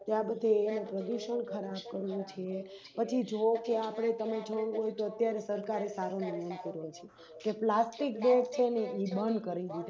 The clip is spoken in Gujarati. ત્યાં બધે પ્રદુષણ ખરાબ કરવું છે પછી જોવો કે આપણે અત્યારે સરકારે સારો કરવો છે પ્લાસ્ટિકબેગછે ને એ બંધ કરી દીધી